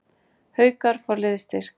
Haukar fá liðsstyrk